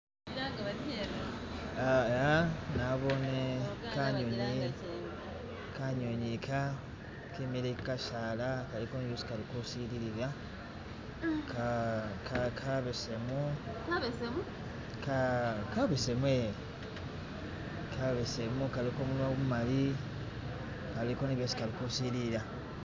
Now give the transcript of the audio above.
Iya nabone kanyunyi, kanyunyi ka kimikile ku kasala kaliko ni byesi kalikusilila kabesemu ka..kabeseme, kabesemu kaliko gumunwa gumumali kaliko ni byesi kalikusililila